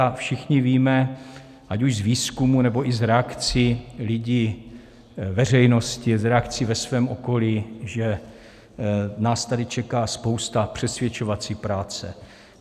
A všichni víme, ať už z výzkumů, nebo i z reakcí lidí, veřejnosti, z reakcí ve svém okolí, že nás tady čeká spousta přesvědčovací práce.